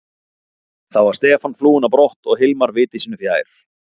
Þá var Stefán flúinn á brott og Hilmar viti sínu fjær.